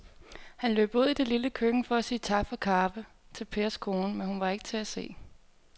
Han løb ud i det lille køkken for at sige tak for kaffe til Pers kone, men hun var ikke til at se.